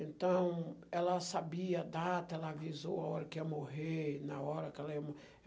Então, ela sabia a data, ela avisou a hora que ia morrer, na hora que ela ia